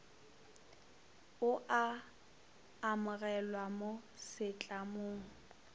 o a amogelwa mo setlamong